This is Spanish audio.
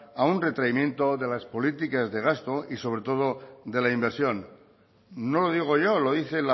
a un retraimiento de las políticas de gasto y sobre todo de la inversión no lo digo yo lo dice